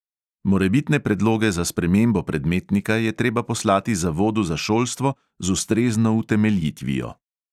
Morebitne predloge za spremembo predmetnika je treba poslati zavodu za šolstvo z ustrezno utemeljitvijo.